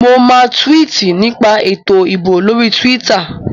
Mo máa túwìtì nípa ètò ìbò lórí túwítà